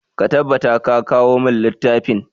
Ka tabbata ka kawo mun littafin!